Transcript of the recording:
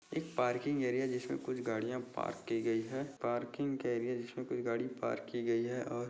एक parking area जिसमे कुछ गड़िया पार्क की गई है पार्किंग का एरिया जिसमे कुछ गाड़ी पार्क की गई है। और--